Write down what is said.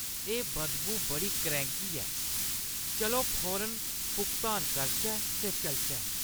एह् बदबू बड़ी करैं‌ह्‌की ऐ। चलो फौरन भुगतान करचै ते चलचै।